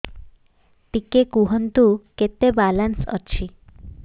ଟିକେ କୁହନ୍ତୁ କେତେ ବାଲାନ୍ସ ଅଛି